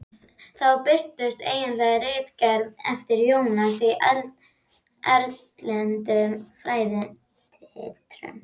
Þá birtust einnig ritgerðir eftir Jónas í erlendum fræðiritum.